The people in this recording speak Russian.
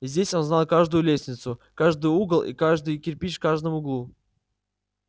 здесь он знал каждую лестницу каждый угол и каждый кирпич в каждом углу